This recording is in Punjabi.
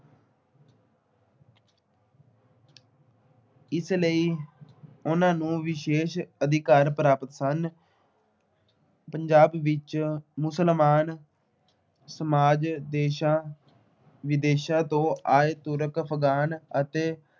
ਇਸ ਲਈ ਉਨ੍ਹਾਂ ਨੂੰ ਵਿਸ਼ੇਸ਼ ਅਧਿਕਾਰ ਪ੍ਰਾਪਤ ਸਨ। ਪੰਜਾਬ ਵਿੱਚ ਮੁਸਲਮਾਨ ਸਮਾਜ ਦੇਸ਼ਾਂ ਵਿਦੇਸ਼ਾਂ ਤੋਂ ਆਏ ਤੁਰਕ ਅਫ਼ਗਾਨ ਅਤੇ